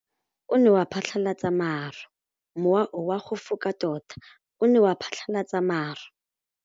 Mowa o wa go foka tota o ne wa phatlalatsa maru.